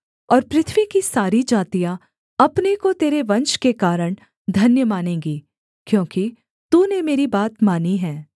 और पृथ्वी की सारी जातियाँ अपने को तेरे वंश के कारण धन्य मानेंगी क्योंकि तूने मेरी बात मानी है